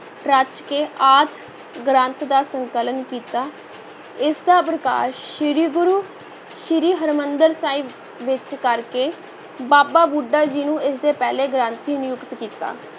ਰਚ ਕੇ ਆਦਿ ਗ੍ਰੰਥ ਦਾ ਸੰਕਲਨ ਕੀਤਾ, ਇਸ ਦਾ ਪ੍ਰਕਾਸ਼ ਸ੍ਰੀ ਗੁਰੂ ਸ੍ਰੀ ਹਰਿਮੰਦਰ ਸਾਹਿਬ ਵਿੱਚ ਕਰ ਕੇ ਬਾਬਾ ਬੁੱਢਾ ਜੀ ਨੂੰ ਇਸ ਦੇ ਪਹਿਲੇ ਗ੍ਰੰਥੀ ਨਿਯੁਕਤ ਕੀਤਾ।